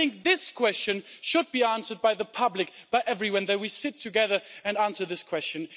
And I think this question should be answered by the public, by everyone, by sitting together and answering this question.